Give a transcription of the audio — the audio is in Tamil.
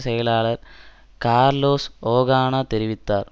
செயலாளர் கார்லோஸ் ஓகானா தெரிவித்தார்